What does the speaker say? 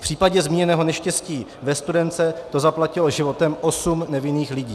V případě zmíněného neštěstí ve Studénce to zaplatilo životem osm nevinných lidí.